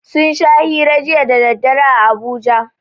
Sun sha hira jiya daddare a Abuja